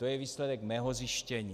To je výsledek mého zjištění.